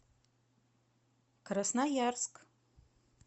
красноярск